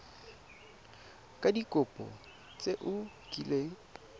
ka dikopo tse o kileng